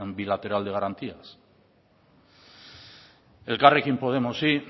bilateral de garantías elkarrekin podemosi